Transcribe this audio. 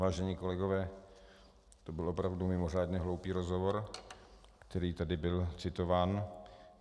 Vážení kolegové, to byl opravdu mimořádně hloupý rozhovor, který tady byl citován.